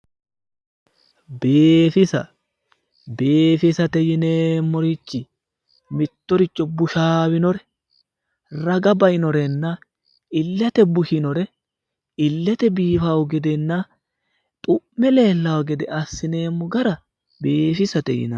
Biifisa, biifisate yineemmorichi mitttoricho bushaawinore raga ba'inorenna illete bushinore illete biifawo gedenna xu'me leellawo gede assi'nemmo gara biifisate yineemmo.